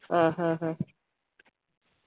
ആഹ്ഹഹ